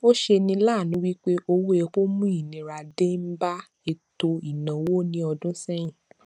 ọ ṣe ni láànú wípé owó epo mú ìnira denba eto ìnáwó ní ọdún sẹyin